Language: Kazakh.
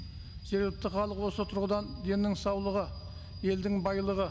себепті халық осы тұрғыдан деннің саулығы елдің байлығы